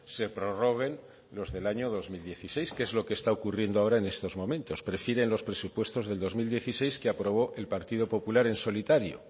se prorroguen los del año dos mil dieciséis que es lo que está ocurriendo ahora en estos momentos prefieren los presupuestos del dos mil dieciséis que aprobó el partido popular en solitario